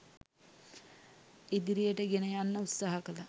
ඉදිරියට ගෙන යන්න උත්සාහ කළා.